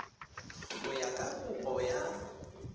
go ya ka kopo ya